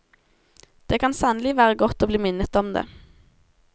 Det kan sannelig være godt å bli minnet om det.